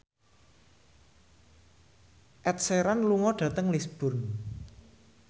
Ed Sheeran lunga dhateng Lisburn